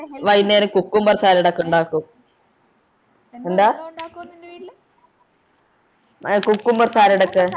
വൈന്നേരം cucumber salad ഒക്കെ ഉണ്ടാക്കും എന്താ cucumber salad ഒക്കെ